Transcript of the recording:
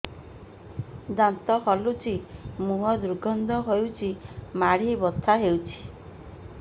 ଦାନ୍ତ ହଲୁଛି ମୁହଁ ଦୁର୍ଗନ୍ଧ ହଉଚି ମାଢି ବଥା ହଉଚି